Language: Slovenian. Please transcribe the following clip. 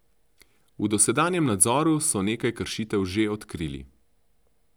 V dosedanjem nadzoru so nekaj kršitev že odkrili.